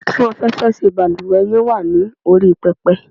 Atún afẹ́fẹ́ ṣe balúwẹ́ yen wa ni orí pepe